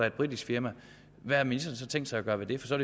et britisk firma hvad har ministeren så tænkt sig at gøre ved det for så